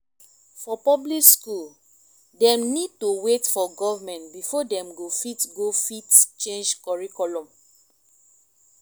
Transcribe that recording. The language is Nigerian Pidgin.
for public school dem need to wait for government before dem go fit go fit change curriculum